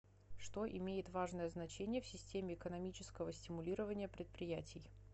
что имеет важное значение в системе экономического стимулирования предприятий